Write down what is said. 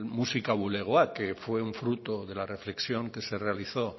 musika bulegoa que fue un fruto de la reflexión que se realizó